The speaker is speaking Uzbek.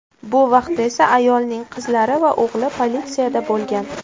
Bu vaqtda esa ayolning qizlari va o‘g‘li politsiyada bo‘lgan.